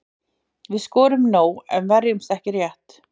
Við skorum nóg en verjumst ekki rétt.